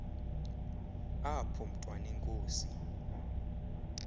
apho mntwan enkosi